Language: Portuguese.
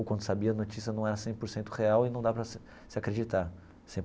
Ou quando sabia, a notícia não era cem por cento real e não dava para se se acreditar.